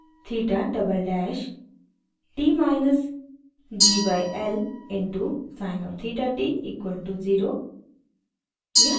theta double dash t minus g by l into sin of theta t equal to 0